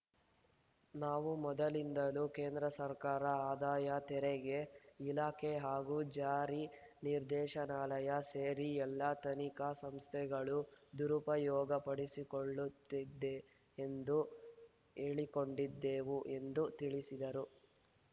ನಾವು ಮೊದಲಿನಿಂದಲೂ ಕೇಂದ್ರ ಸರ್ಕಾರ ಆದಾಯ ತೆರಿಗೆ ಇಲಾಖೆ ಹಾಗೂ ಜಾರಿ ನಿರ್ದೇಶನಾಲಯ ಸೇರಿ ಎಲ್ಲ ತನಿಖಾ ಸಂಸ್ಥೆಗಳು ದುರುಪಯೋಗಪಡಿಸಿಕೊಳ್ಳುತ್ತಿದೆ ಎಂದು ಹೇಳಿಕೊಂಡಿದ್ದೆವು ಎಂದು ತಿಳಿಸಿದರು